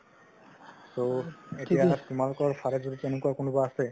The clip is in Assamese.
so এতিয়া তোমালোকৰ ফালে এনেকুৱা কোনোবা আছে?